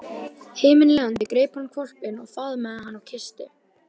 Himinlifandi greip hann hvolpinn og faðmaði hann og kyssti.